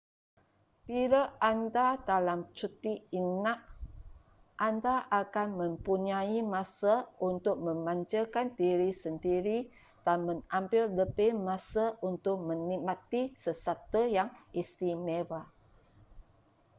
bila anda dalam cuti inap anda akan mempunyai masa untuk memanjakan diri sendiri dan mengambil lebih masa untuk menikmati sesuatu yang istimewa